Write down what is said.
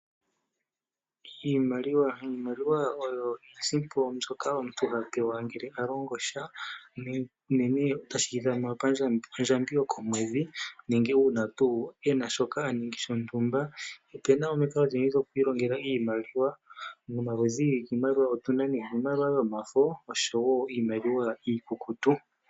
Iimaliwa oyo iisimpo mbyoka omuntu hapewa ngele alongosha shono hashi ithanwa ondjambi yokomwedhi nenge wu na tuu shoka wa ningi shontumba. Otu na omikalo odhindji dhokwiilongela iimaliwa niimaliwa otu na omaludhi gaali giimaliwa, iimaliwa yomafo niimaliwa iikukutu.